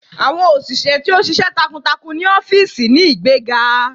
Awọn oṣiṣẹ ti o ṣiṣẹ takuntakun ni ọfiisi ni igbega